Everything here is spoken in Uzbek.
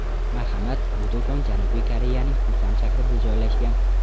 Marhamat, bu do‘kon Janubiy Koreyaning Pusan shahrida joylashgan.